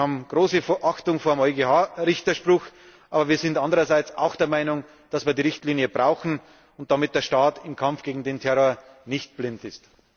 Wir haben große Achtung vor dem Richterspruch des EuGH, aber wir sind andererseits auch der Meinung, dass wir die Richtlinie brauchen, damit der Staat im Kampf gegen den Terror nicht blind ist.